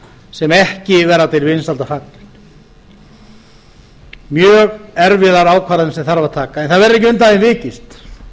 sem ekki verða til vinsælda fallin mjög erfiðar ákvarðanir sem þarf að taka en það verður ekki undan því vikist